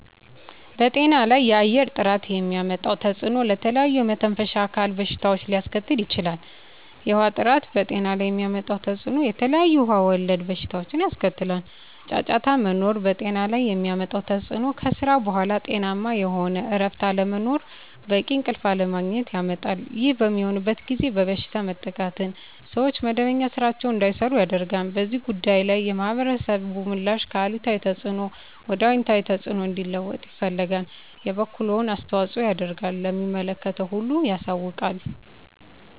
በጤና ላይ የአየር ጥራት የሚያመጣው ተፅዕኖ ለተለያዩ የመተንፈሻ አካል በሽታዎችን ሊያስከትል ይችላል። የውሀ ጥራት በጤና ላይ የሚያመጣው ተፅዕኖ የተለያዩ ውሀ ወለድ በሽታዎችን ያስከትላል። ጫጫታ መኖር በጤና ላይ የሚያመጣው ተፅዕኖ ከስራ በኃላ ጤናማ የሆነ እረፍት አለመኖርን በቂ እንቅልፍ አለማግኘት ያመጣል። ይህ በሚሆንበት ጊዜ በበሽታ መጠቃትን ሰዎች መደበኛ ስራቸዉን እንዳይሰሩ ያደርጋል። በዚህ ጉዳይ ላይ የማህበረሰቡ ምላሽ ከአሉታዊ ተፅዕኖ ወደ አወንታዊ ተፅዕኖ እንዲለወጥ ይፈልጋል የበኩሉን አስተዋፅኦ ያደርጋል ለሚመለከተው ሁሉ ያሳውቃል።